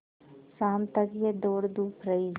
शाम तक यह दौड़धूप रही